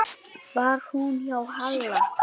Var hún hjá Halla?